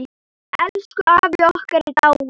Elsku afi okkar er dáinn.